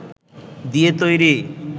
দিয়ে তৈরি